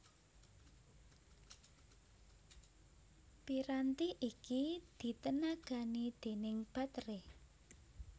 Piranti iki ditenagani déning bateré